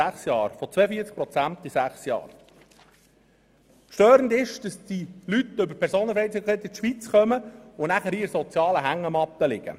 Störend ist, dass diese Leute dank der Personenfreizügigkeit in die Schweiz kommen und dann hier in der sozialen Hängematte liegen.